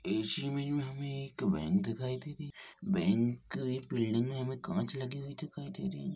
इस इमेज में हमें एक बैंक दिखाई दे रही है बैंक एक बिल्डिंग में हमें कांच लगे हुए दिखाई दे रही हैं।